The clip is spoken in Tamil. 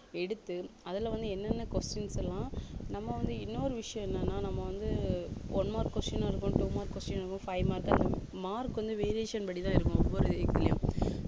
எடுத்து அதுல வந்து என்னென்ன questions எல்லாம் நம்ம வந்து இன்னொரு விஷயம் என்னன்னா நம்ம வந்து one mark question னும் இருக்கும் two mark question இருக்கும் five mark உ mark வந்து variation படிதான் இருக்கும் ஒவ்வொரு week லயும்